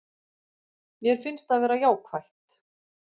Mér finnst það vera jákvætt